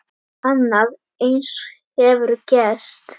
Annað eins hefur gerst!